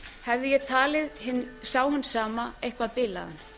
hefði ég talið þann hinn sama eitthvað bilaðan